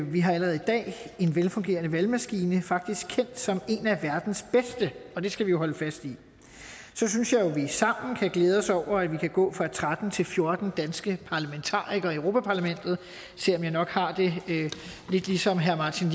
vi har allerede i dag en velfungerende valgmaskine faktisk kendt som en af verdens bedste og det skal vi jo holde fast i så synes jeg jo at vi sammen kan glæde os over at vi kan gå fra tretten til fjorten danske parlamentarikere i europa parlamentet selv om jeg nok har det lidt ligesom herre martin